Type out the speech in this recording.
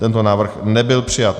Tento návrh nebyl přijat.